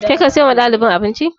Kai ka siyo wa ɗalibin abinci?